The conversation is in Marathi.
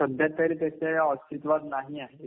सध्यातरी त्याचे aअस्तित्वात नाही आहे.